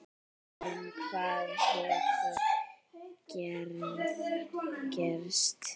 En hvað hefur gerst?